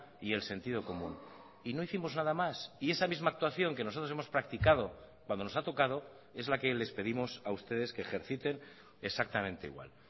y el sentido común y no hicimos nada más y esa misma actuación que nosotros hemos practicado cuando nos ha tocado es la que les pedimos a ustedes que ejerciten exactamente igual